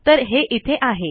तर हे इथे आहे